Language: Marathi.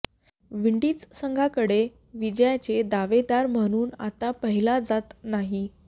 विंडीज संघाकडे विजयाचे दावेदार म्हणून आता पाहिलं जात नाही